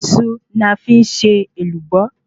Iṣu ni a fi n ṣe Èlùbọ́